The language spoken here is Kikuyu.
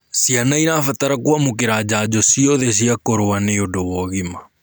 Ciana irabatara kuamukira njanjo ciothe cia kurua nĩũndũ wa ũgima